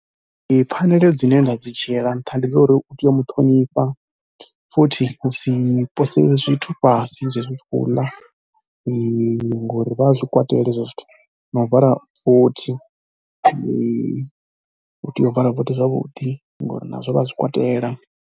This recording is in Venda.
Ee pfhaneleo dzine nda dzi dzhiela nṱha ndi dza uri u tea u mu ṱhonifha, futhi u si pose zwithu fhasi zwezwi u tshi khou ḽa ngori vha a zwi kwatela zwithu na u vala vothi, u tea u vala vothi zwavhuḓi ngori nazwo vha a zwi kwatela.